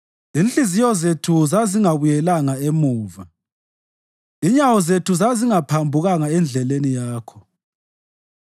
Inhliziyo zethu zazingabuyelanga emuva; inyawo zethu zazingaphambukanga endleleni yakho.